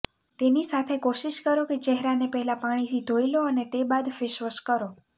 તેની સાથે કોશિશ કરો કે ચહેરાને પહેલા પાણીથી ધોઇ લો અને તે બાદ ફેશવોશ કરો